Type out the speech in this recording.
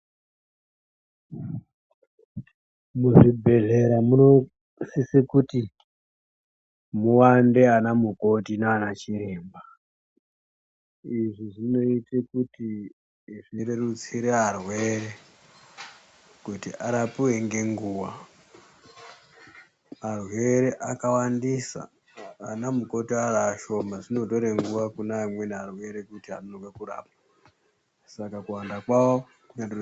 Muzvibhedhlera munosise kuti muwande anamukoti naanachiremba. Izvi zvinoite kuti zvirerutsire arwere kuti arapiwe ngenguwa. Arwere akawandisa anamukoti ari ashoma. Zvinotore nguwa kune amweni arwere kuti akone kurapwa. Saka kuwanda kwawo...